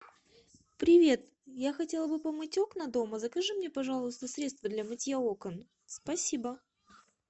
привет я хотела бы помыть окна дома закажи мне пожалуйста средство для мытья окон спасибо